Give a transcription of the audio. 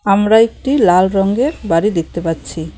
আমরা একটি লাল রঙ্গের বাড়ি দেখতে পাচ্ছি।